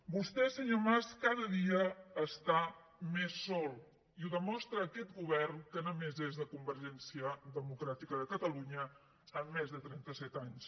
vostè senyor mas cada dia està més sol i ho demostra aquest govern que només és de convergència democràtica de catalunya en més de trenta set anys